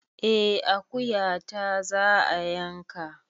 Eh akuyata za a yanka